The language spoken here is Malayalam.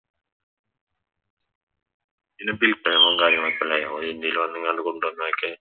പിന്നെ വില്പനകളും കാര്യങ്ങളൊക്കെയായി വന്നെങ്ങാണ്ട് കൊണ്ട്വന്നതൊക്കെ